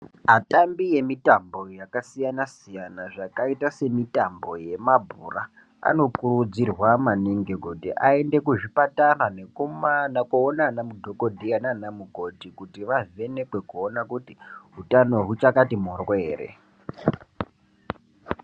Atambi emitambo yakasiyana-siyana zvakaita semitambo yemabhora anokurudzirwa maningi kuti aende kuzvipatara kunoona anadhokoteya naana mukoti kuti vavhenekwe kuona kuti utano huchakati mhoryo here.